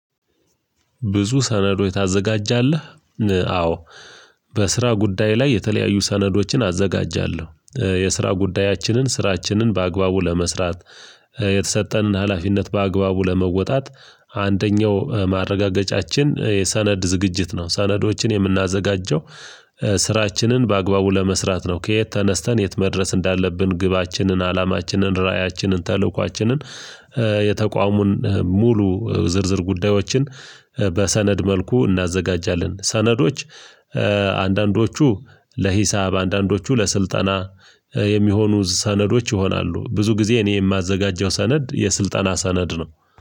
ብዙ ሰነዶች ታዘጋጃለህ። አዎ። በስራ ጉዳይ ላይ የተለያዩ ሰነዶችን አዘጋጃለሁ የስራ ጉዳያችንን ስራችንን በአግባቡ ለመስራት የተሰጠንን ሀላፊነት በአግባቡ ለመወጣት። አንደኛው ማረጋገጫችን የሰነድ ዝግጅት ነው ሰነዶችን የምናዘጋጀው። ስራችንን በአግባቡ ለመስራት ነው። ከየት ተነስተን የት መድረስ እንዳለብን ግባችንን አላማችንን ራእያችንን ተልእኳችንን የተቋሙን ሙሉ ዝርዝር ጉዳዮችን በሰነድ መልኩ እናዘጋጃለን። ሰነዶች አንዳንዶቹ ለሂሳብ አንዳንዶቹ ለስልጠና የሚሆኑ ሰነዶች ይሆናሉ። ብዙ ጊዜ እኔ የማዘጋጀው ሰነድ የስልጠና ሰነድ ነው።